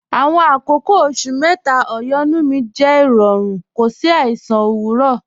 Àwọn àkọ̀kọ̀ oṣù̀ méta ọ̀yọ́nú mi jẹ́ rọ̀rún, kò sí àìsàn owurọ̀